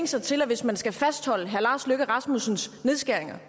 sig til at hvis man skal fastholde herre lars løkke rasmussens nedskæringer